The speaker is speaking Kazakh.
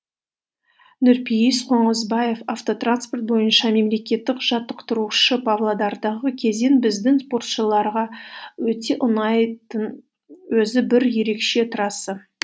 нұрпейіс қонысбаев бойынша мемлекеттік жаттықтырушы павлодардағы кезең біздің спортшыларға өте ұнайтын өзі бір ерекше трасса